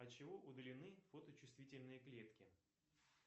от чего удалены фоточувствительные клетки